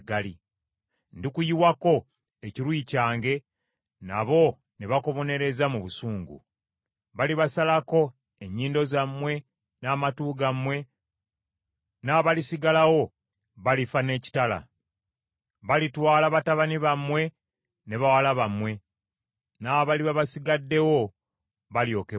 Ndikuyiwako ekiruyi kyange, nabo ne bakubonereza mu busungu. Balibasalako ennyindo zammwe n’amatu gammwe, n’abalisigalawo balifa n’ekitala. Balitwala batabani bammwe ne bawala bammwe, n’abaliba basigaddewo, balyokebwa omuliro.